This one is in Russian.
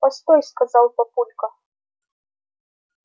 постой сказал папулька